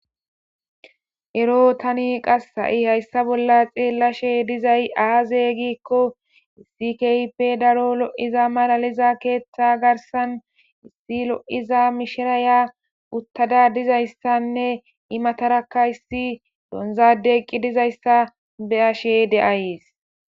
Erro tani hayissa bolla xelashe dizayi aze gikko issi daro loyida ketha garissani issi ayiya utada dizayisa beyashe deyayisi